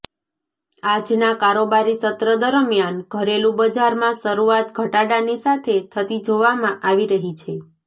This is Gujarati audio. આજના કારોબારી સત્ર દરમ્યાન ઘરેલૂ બજારમાં શરૂઆત ઘટાડાની સાથે થતી જોવામાં આવી રહી છે